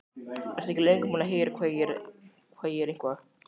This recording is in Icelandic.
Ertu ekki löngu búinn að heyra hvað ég er eitthvað.